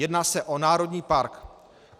Jedná se o národní park.